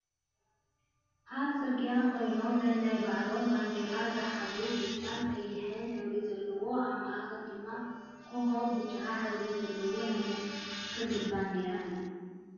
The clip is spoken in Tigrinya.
ኣብ ፅርግያ ኮይኖም ናናይ ባዕሎም ባንዴራ ዝሓዙን ብጫን ቀይሕን ሕብሪ ዘለዎን ኣብ ማእከላ ድማ ኮኮብ ብብጫ ሕብሪ ዘለዎ ናይ መን ክልል ባንዴራ እዩ?